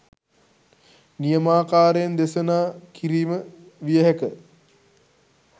නියමාකාරයෙන් දෙසනා කිරීම විය හැක.